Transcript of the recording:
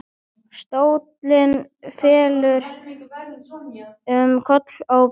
Stóllinn fellur um koll með bramli.